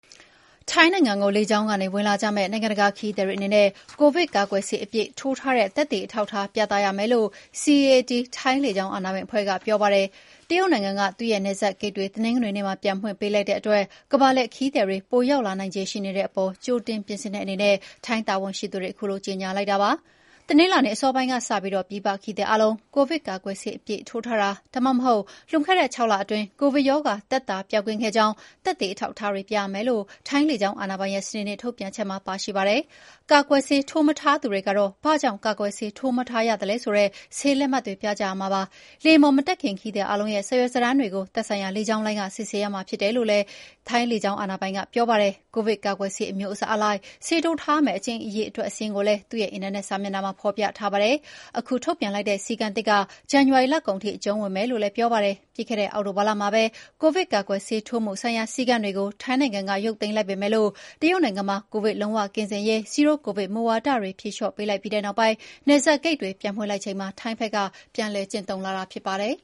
ထိုင်းနိုင်ငံကို လေကြောင်းကနေဝင်လာကြမယ့် နိုင်ငံတကာခရီးသည်တွေအနေနဲ့ ကိုဗစ်ကာကွယ်ဆေးအပြည့်ထိုးထားတဲ့ သက်သေအထောက်အထားပြသရမယ်လို့ CAAT ထိုင်းလေကြောင်းအာဏာပိုင်အဖွဲ့က ပြောပါတယ်။ တရုတ်နိုင်ငံက သူ့နယ်စပ်ဂိတ်တွေ တနင်္ဂနွေနေ့မှာ ပြန်ဖွင့်ပေးလိုက်တဲ့အတွက် ကမ္ဘာလှည့်ခရီးသည်တွေပိုရောက်လာနိုင်ခြေရှိတဲ့အပေါ် ကြိုတင်ပြင်ဆင်တဲ့အနေနဲ့ ထိုင်းတာဝန်ရှိသူတွေက ခုလိုကြေညာလိုက်တာပါ။ တနင်္လာနေ့အစောပိုင်းကစပြီး ပြည်ပခရီးသည်အားလုံး ကိုဗစ်ကာကွယ်ဆေးအပြည့်ထိုးထားတာ၊ ဒါမှမဟုတ်လွန်ခဲ့တဲ့ ၆ လအတွင်း ကိုဗစ်ရောဂါ သက်သာပျောက်ကင်းခဲ့ကြောင်း သက်သေအထောက်အထားတွေပြရမယ်လို့ ထိုင်းလေကြောင်းအာဏာပိုင်ရဲ့ စနေနေ့ထုတ်ပြန်ချက်မှာပါရှိပါတယ်။ ကာကွယ်ဆေးထိုးမထားသူတွေကတော့ ဘာကြောင့်ကာကွယ်ဆေးမထိုးထားသလဲဆိုတဲ့ ဆေးလက်မှတ်တွေပြကြရမှာဖြစ်ပါတယ်။ လေယာဉ်ပေါ်မတက်ခင် ခရီးသည်အားလုံးရဲ့ စာရွက်စာတမ်းတွေကို သက်ဆိုင်ရာလေကြောင်းလိုင်းက စစ်ဆေးရမှာဖြစ်တယ်လို့လည်း CAAT ကပြောပါတယ်။ ကိုဗစ်ကာကွယ်ဆေးအမျိုးအစားအလိုက် ဆေးထိုးထားရမယ့် အကြိမ်အရေအတွက်စာရင်းကိုလည်း သူ့ရဲ့အင်တာနက်စာမျက်နှာမှာဖော်ပြထားပါတယ်။ ခုထုတ်ပြန်လိုက်တဲ့ စည်းကမ်းသစ်က ဇန်နဝါရီလကုန်ထိ အကျုံးဝင်မယ်လို့လည်း CAAT ကပြောပါတယ်။ ပြီးခဲ့တဲ့အောက်တိုဘာလမှာပဲ ကိုဗစ်ကာကွယ်ဆေး ထိုးမှု ဆိုင်ရာ စည်းကမ်းတွေကို ထိုင်းနိုင်ငံက ရုပ်သိမ်းလိုက်ပေမယ့် တရုတ်နိုင်ငံမှာ ကိုဗစ်လုံးဝကင်းစင်ရေး zero-Covid မူဝါဒတွေဖြေလေ ျှာ့ပေးလိုက်ပြီး နယ်စပ်ဂိတ်တွေပြန်ဖွင့်လိုက်ချိန်မှာ ထိုင်းဖက်ကပြန်လည်ကျင့်သုံ းလာတာဖြစ်ပါတယ်